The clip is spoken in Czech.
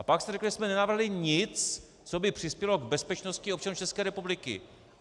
A pak jste řekl, že jsme nenavrhli nic, co by přispělo k bezpečnosti občanů České republiky.